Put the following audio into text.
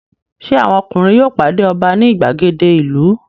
Ṣé àwọn ọkùnrin yóò pàdé ọba ní ìgbàgede ìlú?